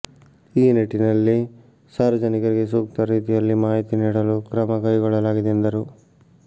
ಈ ನಿಟ್ಟಿನಲ್ಲಿ ಸಾರ್ವಜನಿಕರಿಗೆ ಸೂಕ್ತ ರೀತಿಯಲ್ಲಿ ಮಾಹಿತಿ ನೀಡಲು ಕ್ರಮಕೈಗೊಳ್ಳಲಾಗಿದೆ ಎಂದರು